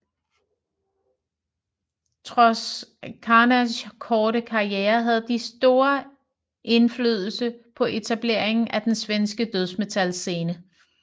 Trods Carnages korte karriere havde de stor indflydelse på etableringen af den svenske dødsmetal scene